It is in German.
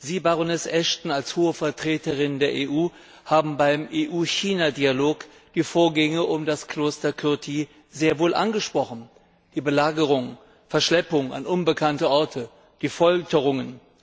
Sie, Baroness Ashton, als Hohe Vertreterin der EU, haben beim EU China Dialog die Vorgänge um das Kloster Kirti sehr wohl angesprochen, die Belagerung, die Verschleppung an unbekannte Orte, die Folterungen.